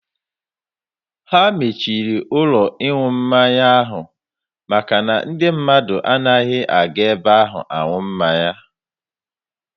Ha mechiri ụlọ ịṅụ mmanya ahụ maka na ndị mmadụ anaghịzi aga ebe ahụ ịṅụ mmanya.